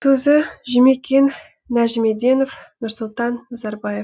сөзі жұмекен нәжімеденов нұрсұлтан назарбаев